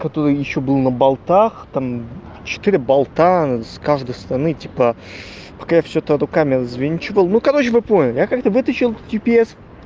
который ещё был на болтах там четыре болта с каждой стороны типа пока я всё это руками развинчивал ну короче вы поняли я как-то вытащил джипс